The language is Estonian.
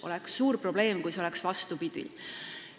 Oleks suur probleem, kui asi oleks vastupidi.